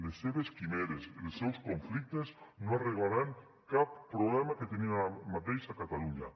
les seves quimeres els seus conflictes no arreglaran cap problema que tenim ara mateix a catalunya